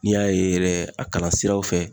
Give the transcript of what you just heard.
N'i y'a ye yɛrɛ a kalan siraw fɛ